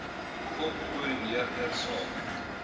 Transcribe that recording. gop koördineerder saam